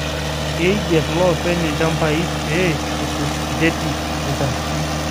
Keigerr lopeny lchambai pee etum ncheti olchamba